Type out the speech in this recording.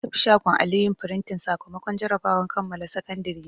Na tafi shagon Ali yin frintin sakamakon jarabawar kammala Sakandiri na.